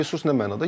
resurs nə mənada?